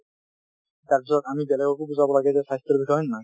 তাৰপিছত আমি বেলেগকো বুজাব লাগে যে স্বাস্থ্যৰ বিষয়ে, হয় নে নহয়?